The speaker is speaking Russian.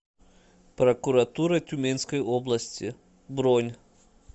прокуратура тюменской области бронь